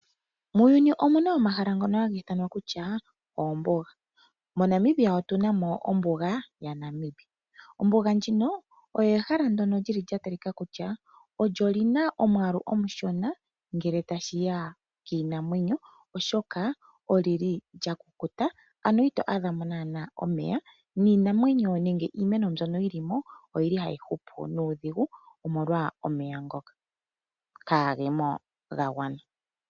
Muuyuni omuna omahala ngoka hagi ithanwa kutya oombuga. Mo Namibia otuna mo ombuga ya Namib. Ombuga ndjino oyo ehala ndyono li li lya talikako kutya, olyo lina omwaalu omushona ngele tashiya kiinamwenyo, oshoka oli li lya kukuta, ano ito adhamo naana omeya niinamwenyo nenge iimeno mbyono yi li mo oyili tayi hupu nuudhigu omolwa omeya ngoka kaagemo ga gwana.